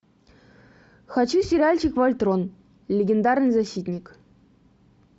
хочу сериальчик вольтрон легендарный защитник